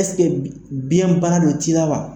Ɛseke biɲɛ bana de t'i la wa?